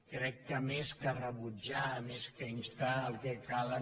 crec que més que rebutjar més que instar el que calen